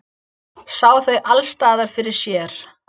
Sá þau alls staðar fyrir sér.